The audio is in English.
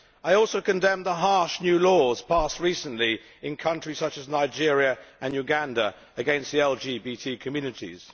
I also condemned the harsh new laws passed recently in countries such as Nigeria and Uganda against the LGBT communities.